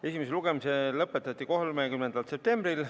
Esimene lugemine lõpetati 30. septembril.